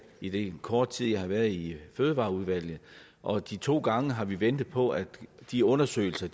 i den korte tid jeg har været i fødevareudvalget og de to gange har vi ventet på at de undersøgelser